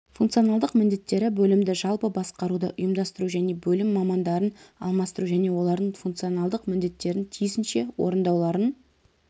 функционалдық міндеттері бөлімді жалпы басқаруды ұйымдастыру және бөлім мамандарын алмастыру және олардың функционалдық міндеттерін тиісінше орындауларын